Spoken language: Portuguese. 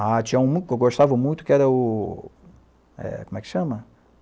Ah, tinha um que eu gostava muito, que era o... Eh, como é que chama?